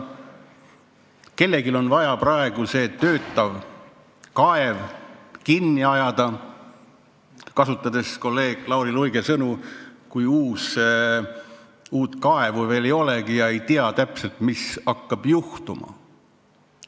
Ning kellelgi on nüüd vaja see töötav kaev kinni ajada – kasutan kolleeg Lauri Luige sõnu –, kuigi uut kaevu veel ei ole ja ei tea täpselt, mis hakkab juhtuma.